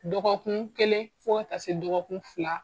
Dɔgɔkun kɛlen fo ka ta se dɔgɔkun fila.